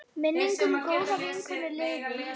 Minning um góða vinkonu lifir.